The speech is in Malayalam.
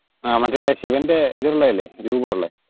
ആ മറ്റേ ഇല്ലേ ശിവന്റെ ഇതൊള്ളതല്ലേ രുപം ഉള്ളെ?